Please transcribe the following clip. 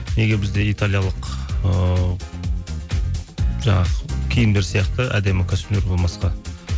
неге бізде италиялық ыыы жаңағы киімдер сияқты әдемі костюмдер болмасқа